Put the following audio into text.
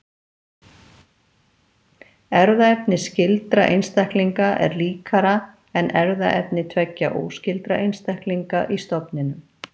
Erfðaefni skyldra einstaklinga er líkara en erfðaefni tveggja óskyldra einstaklinga í stofninum.